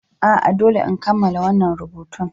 A'a, dole in kammala wannan rubutun.